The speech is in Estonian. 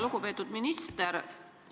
Lugupeetud minister!